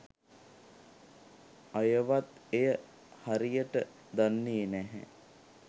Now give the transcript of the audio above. අයවත් එය හරියට දන්නේ නැහැ.